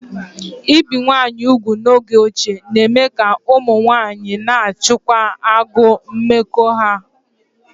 Íbi umunwaayị úgwù n'oge ochie na-eme ka ụmụ nwanyị na-achịkwa agụụ mmekọahụ ha